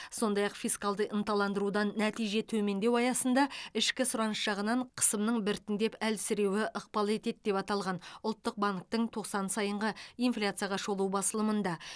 сондай ақ фискалды ынталандырудан нәтиже төмендеу аясында ішкі сұраныс жағынан қысымның біртіндеп әлсіреуі ықпал етеді деп аталған ұлттық банктің тоқсан сайынғы инфляцияға шолу басылымында